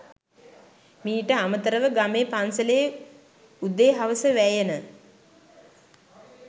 මීට අමතරව ගමේ පන්සලේ උදේ හවස වැයෙන